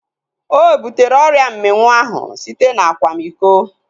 Ọ butere ọrịa mminwụ ahu site na akwamiko